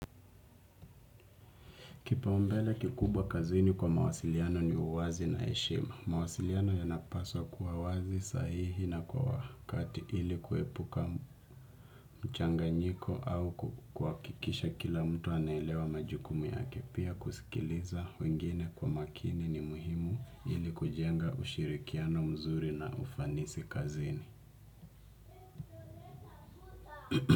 Kipaumbele kikubwa kazini kwa mawasiliano ni uwazi na heshema. Mwasiliano yanapaswa kuwa wazi sahihi na kwa wakati ili kuepuka mchanganyiko au kukuhakikisha kila mtu anaelewa majukumu yake pia kusikiliza wengine kwa makini ni muhimu ili kujenga ushirikiano mzuri na ufanisi kazini.